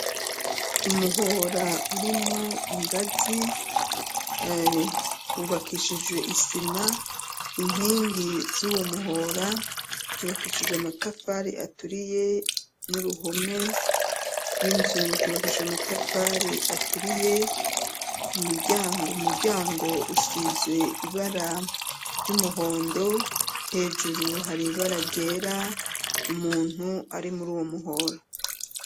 Umuhora urimwo ingazi wubakishijwe isima, inkingi z'uwo muhora zubakishijwe amatafari aturiye n'uruhome rw'inzu rwubakishije amatafari aturiye , umuryango usizwe ibara ry'umuhondo, hejuru hari ibara ryera umuntu ari muri uwo muhora.